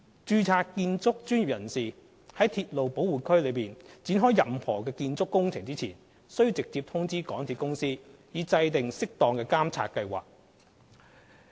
註冊建築專業人士在鐵路保護區內展開任何建築工程前，須直接通知港鐵公司，以制訂適當的監察計劃。